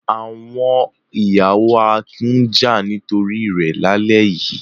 Àwọn ìyàwó Akin ń jà nítorí rẹ̀ lálẹ́ yìí.